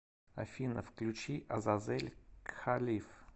афина включи азазель кхалиф